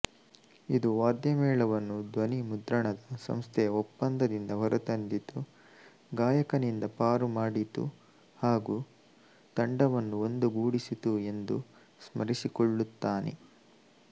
ಇದು ವಾದ್ಯಮೇಳವನ್ನು ಧ್ವನಿಮುದ್ರಣದ ಸಂಸ್ಥೆಯ ಒಪ್ಪಂದದಿಂದ ಹೊರತಂದಿತು ಗಾಯಕನಿಂದ ಪಾರುಮಾಡಿತು ಹಾಗು ತಂಡವನ್ನು ಒಂದುಗೂಡಿಸಿತು ಎಂದು ಸ್ಮರಿಸಿಕೊಳ್ಳುತ್ತಾನೆ